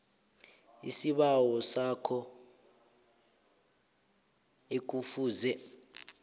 isibawo sakho ekufuze